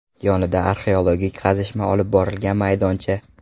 Yonida arxeologik qazishma olib borilgan maydoncha.